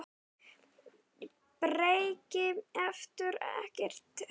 Breki: Ertu ekkert hræddur?